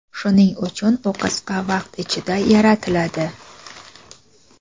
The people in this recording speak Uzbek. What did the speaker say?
shuning uchun u qisqa vaqt ichida yaratiladi.